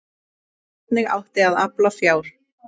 Hvernig átti að afla fjár?